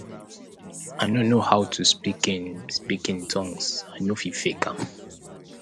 i no know how to speak in speak in tongues i no fit fake am